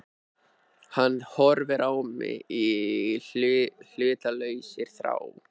Hann horfir á mig í hlutlausri þrá.